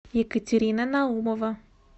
екатерина наумова